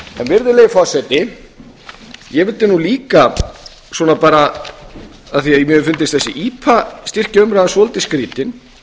um það ég vildi nú líka af því að mér finnst þessi ipa styrkjaumræða svolítið skrýtin